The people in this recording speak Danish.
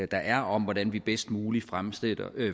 der er om hvordan vi bedst muligt fremmer